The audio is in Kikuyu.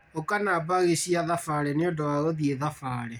ũka na mbagi cia thabarĩ nĩũndũ wa gũthiĩ thabarĩ